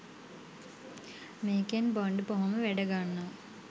මේකෙන් බොන්ඩ් බොහොම වැඩ ගන්නවා